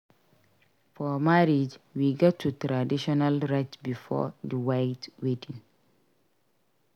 For marriage we gats do traditional rites before the white wedding.